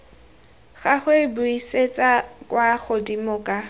gagwe buisetsa kwa godimo ka